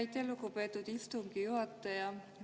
Aitäh, lugupeetud istungi juhataja!